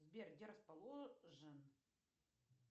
сбер где расположен